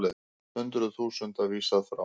Hundruð þúsunda vísað frá